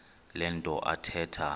le nto athetha